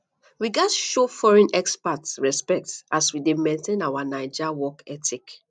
we gats show foreign expat respect as we dey maintain our naija work ethic